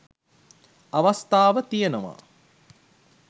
අවස්ථාව තියෙනවා.